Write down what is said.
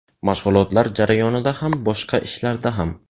Mashg‘ulotlar jarayonida ham, boshqa ishlarda ham.